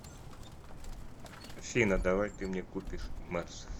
афина давай ты мне купишь мерс